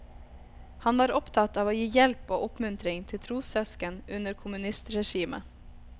Han var opptatt av å gi hjelp og oppmuntring til trossøsken under kommunistregimet.